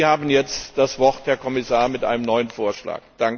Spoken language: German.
Sie haben jetzt das Wort, Herr Kommissar, mit einem neuen Vorschlag.